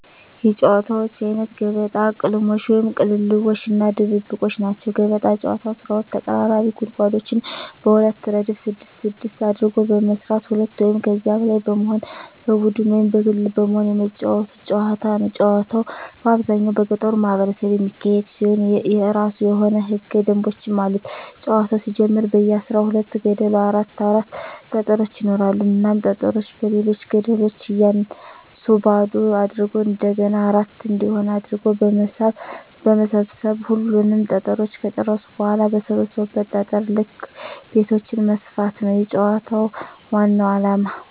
የጨዋታወች አይነት ገበጣ፣ ቅልሞሽ(ቅልልቦሽ) እና ድብብቆሽ ናቸዉ። ገበጣ ጨዋታ 12 ተቀራራቢ ጉድጓዶችን በሁለት እረድፍ ስድስት ስድስት አድርጎ በመስራት ሁለት ወይም ከዚያ በላይ በመሆን በቡድን ወይም በግል በመሆን የመጫወቱት ጨዋታ ነዉ። ጨዋታዉ በአብዛኛዉ በገጠሩ ማህበረሰብ የሚካሄድ ሲሆን የእራሱ የሆኑ ህገ ደንቦችም አሉት ጨዋታዉ ሲጀመር በየ አስራ ሁለት ገደሉ አራት አራት ጠጠሮች ይኖራሉ እናም ጠጠሮችን በሌሎች ገደሎች እያነሱ ባዶ አድርጎ እንደገና አራት እንዲሆን አድርጎ በመሰብ ሰብ ሁሉንም ጠጠሮች ከጨረሱ በኋላ በሰበሰቡት ጠጠር ልክ ቤቶችን መስፋት ነዉ የጨዋታዉ ዋናዉ አላማ።